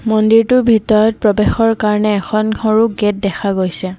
মন্দিৰটোৰ ভিতৰত প্ৰবেশৰ কাৰণে এখন সৰু গেট দেখা গৈছে।